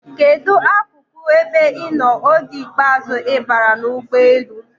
Kedụ akụkụ ebe ị nọ oge ikpeazụ ị baara n'ụgbọelu?